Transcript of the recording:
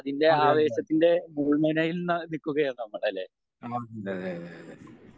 അതെയതെ